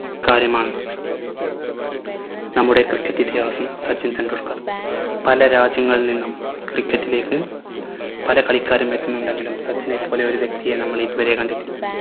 കാര്യമാണ് നമ്മുടെ cricket ഇതിഹാസം സച്ചിൻ ടെണ്ടുൽക്കർ പല രാജ്യങ്ങളിൽ നിന്നും cricket ഇലേക്ക് പല കളിക്കാരും എത്തുന്നുണ്ടെങ്കിലും സച്ചിനെ പോലെ ഒരു വ്യക്തിയെ നമ്മൾ ഇതുവരെ കണ്ടിട്ടില്ല.